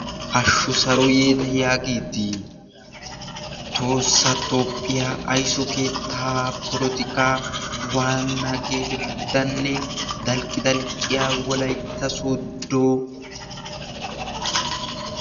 hashshu saro yeeta yaagiddi toosa topphiyaa aiso keetta polotika waana geetettanne dalqqi dalqqiya walaitta sodo